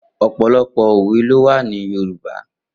Opọlọpọ ówé lówà ni yórùbá